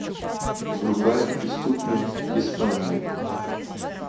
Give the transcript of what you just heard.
врубай преступник испания